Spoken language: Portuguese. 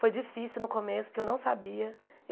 Foi difícil no começo, porque eu não sabia.